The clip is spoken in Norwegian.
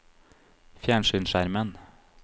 fjernsynsskjermen